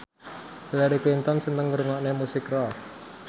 Hillary Clinton seneng ngrungokne musik rock